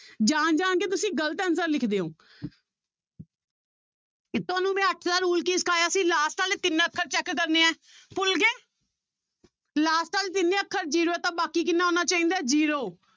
ਜਾਣ ਜਾਣਕੇ ਤੁਸੀਂ ਗ਼ਲਤ answer ਲਿਖਦੇ ਹੋ ਤੁਹਾਨੂੰ ਮੈਂ ਅੱਠ ਦਾ rule ਕੀ ਸਿਖਾਇਆ ਸੀ last ਵਾਲੇ ਤਿੰਨ ਅੱਖਰ check ਕਰਨੇ ਹੈ ਭੁੱਲ ਗਏ last ਵਾਲੇ ਤਿੰਨੇ ਅੱਖਰ zero ਹੈ ਤੇ ਬਾਕੀ ਕਿੰਨਾ ਆਉਣਾ ਚਾਹੀਦਾ ਹੈ zero